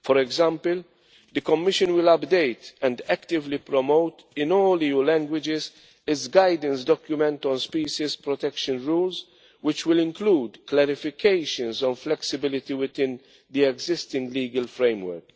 For example, the Commission will update and actively promote, in all EU languages, its guidance document on species protection rules, which will include clarifications on flexibility within the existing legal framework.